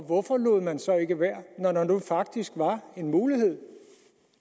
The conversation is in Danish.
hvorfor lod man så ikke være når der nu faktisk var en mulighed